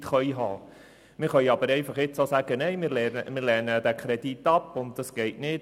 Wir können jetzt auch Nein sagen und den Kredit ablehnen mit der Begründung, das gehe so nicht.